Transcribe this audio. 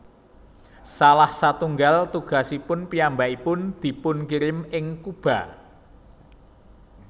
Salah satunggal tugasipun piyambakipun dipunkirim ing Kuba